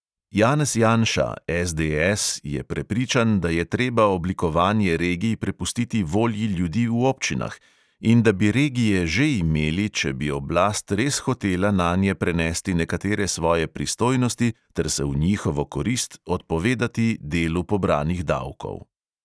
Janez janša je prepričan, da je treba oblikovanje regij prepustiti volji ljudi v občinah in da bi regije že imeli, če bi oblast res hotela nanje prenesti nekatere svoje pristojnosti ter se v njihovo korist odpovedati delu pobranih davkov.